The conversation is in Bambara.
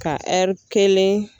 Ka ɛri kelen